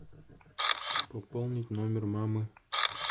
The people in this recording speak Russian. пополнить номер мамы